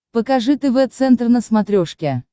покажи тв центр на смотрешке